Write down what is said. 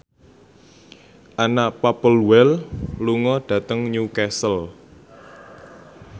Anna Popplewell lunga dhateng Newcastle